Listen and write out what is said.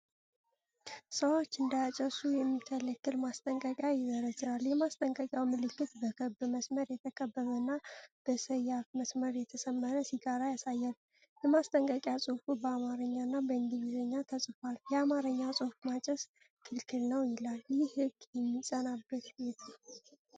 ሰዎች እንዳያጨሱ የሚከለክል ማስጠንቀቂያ ይዘረዝራል። የማስጠንቀቂያው ምልክት በክብ መስመር የተከበበና በሰያፍ መስመር የተሰመረበት ሲጋራ ያሳያል። የማስጠንቀቂያው ጽሑፍ በአማርኛ እና በእንግሊዝኛ ተጽፏል። የአማርኛው ጽሑፍ "ማጨስ ክልክል ነው" ይላል። ይህ ህግ የሚፀናበት የት ነው?